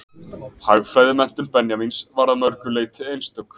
Hagfræðimenntun Benjamíns var að mörgu leyti einstök.